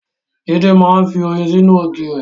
Jídé máa ń fi oyin sínú ògì re.